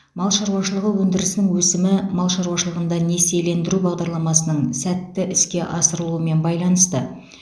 мал шаруашылығы өндірісінің өсімі мал шаруашылығында несиелендіру бағдарламасының сәтті іске асырылуымен байланысты